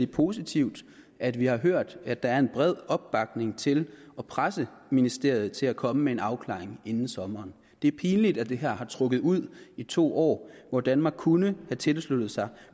positivt at vi har hørt at der er en bred opbakning til at presse ministeriet til at komme med en afklaring inden sommeren det er pinligt at det her har trukket ud i to år hvor danmark kunne have tilsluttet sig